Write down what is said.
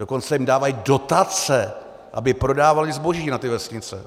Dokonce jim dávají dotace, aby prodávaly zboží na ty vesnice.